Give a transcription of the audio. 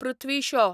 Prithvi Shaw